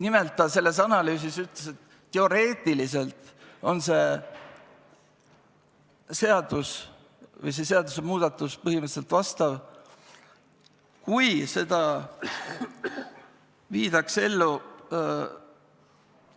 Nimelt ta ütles selles analüüsis, et teoreetiliselt on see seadus või see seadusmuudatus põhiseadusele vastav, kui seda viidaks ellu